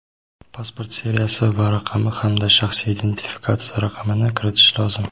pasport seriyasi va raqami hamda shaxsiy identifikatsiya raqamini kiritishi lozim.